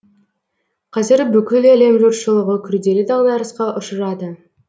қазір бүкіл әлем жұртшылығы күрделі дағдарысқа ұшырады